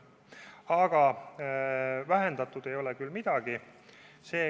Aga vähendatud ei ole küll midagi.